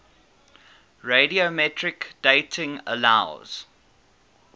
radiometric dating allows